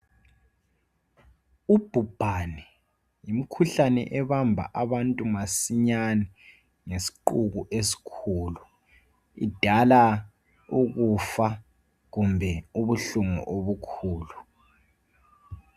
Ubhubhane yimkhuhlane ebamba abantu masinyane ngesiqubu esikhulu idala ukufa kumbe ubuhlungu okukhulu